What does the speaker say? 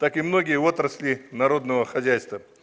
так и многие отрасли народного хозяйства